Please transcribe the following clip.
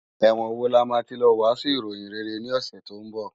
Èwòn wó làmá ti ló wàsún iróyin réré ni òsè tó n bò?